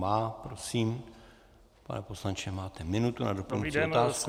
Má. Prosím, pane poslanče, máte minutu na doplňující otázku.